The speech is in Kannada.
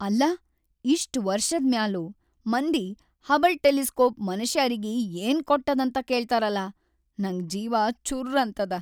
ಅಲ್ಲಾ ಇಷ್ಟ್‌ ವರ್ಷಾದ್‌ಮ್ಯಾಲೂ, ಮಂದಿ ಹಬಲ್‌ ಟೆಲಿಸ್ಕೋಪ್ ಮನಷ್ಯಾರಿಗಿ ಏನ್‌ ಕೊಟ್ಟದಂತ ಕೇಳ್ತಾರಲಾ ನಂಗ ಜೀವಾ ಚುರ್ರ್ ಅಂತದ.